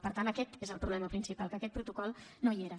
per tant aquest és el problema principal que aquest protocol no hi era